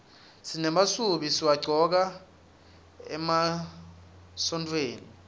simemasubi siwagcoka emagontfweni